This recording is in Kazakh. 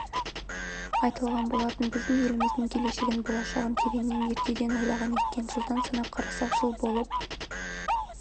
айтылған болатын біздің еліміздің келешегін болашағын тереңнен ертеден ойлаған екен жылдан санап қарасақ жыл болып